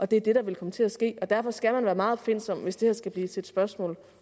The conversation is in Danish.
det er det der vil komme til at ske og derfor skal man være meget opfindsom hvis det her skal blive til et spørgsmål